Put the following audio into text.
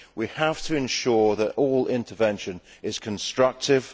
We have to ensure that all intervention is constructive